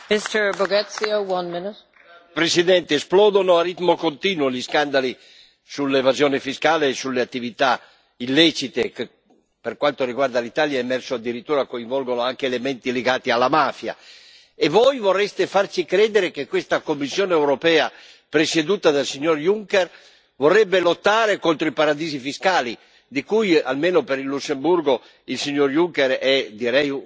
Signora Presidente, onorevoli colleghi, esplodono a ritmo continuo gli scandali sull'evasione fiscale e sulle attività illecite che, per quanto riguarda l'Italia, è emerso addirittura che coinvolgono anche elementi legati alla mafia. E voi vorreste farci credere che questa Commissione europea, presieduta dal signor Junker, vorrebbe lottare contro i paradisi fiscali di cui, almeno per il Lussemburgo, il signor Juncker è, direi, un acclarato protettore.